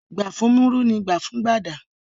Gbà fún Múrí ni gbà fún Gbàdà.